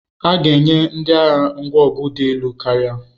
A ga-enye ndị agha ngwa ọgụ dị elu karịa.